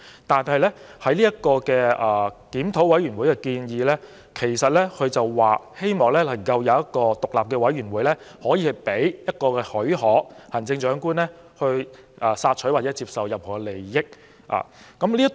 但是，檢討委員會的建議是希望能夠設立一個獨立委員會，可以提供許可予行政長官索取或接受任何利益。